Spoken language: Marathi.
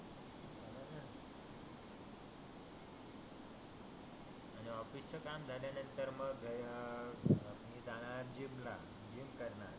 आणि ऑफिस च काम झाल्यानंतर मग मी जाणार आहे जिम ला जिम करणार